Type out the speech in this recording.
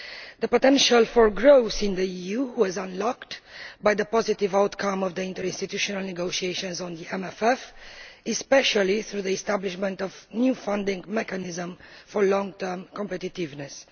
The potential for growth in the EU was unlocked by the positive outcome of the interinstitutional negotiations on the MFF, especially through the establishment of a new funding mechanism for long term competitiveness.